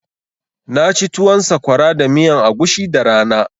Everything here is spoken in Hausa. Na ci tuwon sakwara da miyan agushi da rana